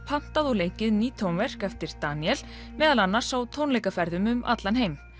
pantað og leikið ný tónverk eftir Daníel meðal annars á tónleikaferðum um allan heim